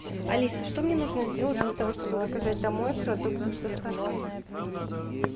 алиса что мне нужно сделать для того чтобы заказать домой продукты с доставкой